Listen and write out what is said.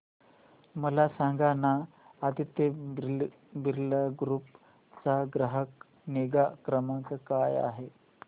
मला सांगाना आदित्य बिर्ला ग्रुप चा ग्राहक निगा क्रमांक काय आहे